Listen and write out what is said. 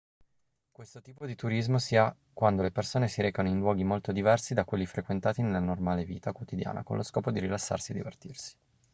questo tipo di turismo si ha quando le persone si recano in luoghi molto diversi da quelli frequentati nella normale vita quotidiana con lo scopo di rilassarsi e divertirsi